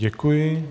Děkuji.